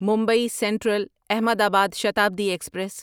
Mumbai central Ahmedabad Shatabdi express